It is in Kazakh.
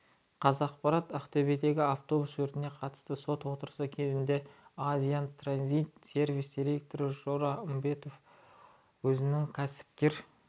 қазақпарат ақтөбедегі автобус өртіне қатысты сот отырысы кезінде азия транзит сервис директоры жора үмбетов өзінің кәсіпкер